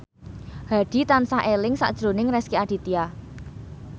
Hadi tansah eling sakjroning Rezky Aditya